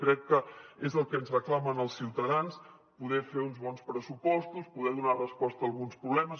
crec que és el que ens reclamen els ciutadans poder fer uns bons pressupostos poder donar resposta a alguns problemes